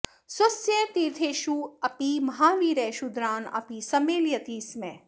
स्वस्य तीर्थेषु अपि महावीरः शूद्रान् अपि सम्मेलयति स्म